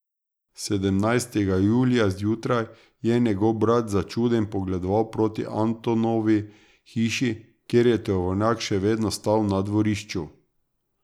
Sedemnajstega julija zjutraj je njegov brat začuden pogledoval proti Antonovi hiši, ker je tovornjak še vedno stal na dvorišču.